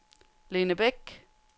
Lene Bech